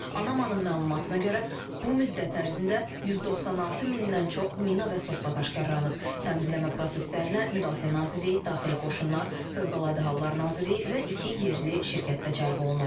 Anamanın məlumatına görə bu müddət ərzində 196 mindən çox mina və sursat aşkarlanıb, təmizləmə proseslərinə Müdafiə Nazirliyi, Daxili Qoşunlar, Fövqəladə Hallar Nazirliyi və iki yerli şirkət də cəlb olunub.